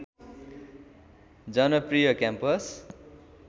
जनप्रिय campus